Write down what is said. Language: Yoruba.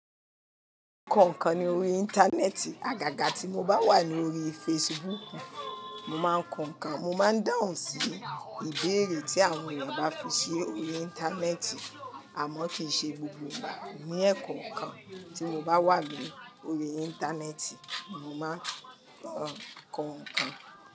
Kọ̀ọ̀kan ni orí Íńtánẹ́ẹ̀tì, àgàgà tí mo bá wà ní orí Facebook, mo máa ń kọ̀ọ̀kan, mo máa ń dahun sí ìbéèrè tí àwọn ènìyàn bá fi sí orí Íńtánẹ́ẹ̀tì àmọ́ kì í ṣe gbogbo ẹ̀kọ̀ọ̀kan tí mo bá wà lórí Íńtánẹ́ẹ̀tì mo máa ń kọ n kan.